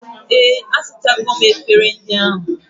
Ee, asachago m efere ndị ahụ